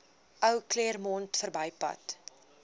ou claremont verbypad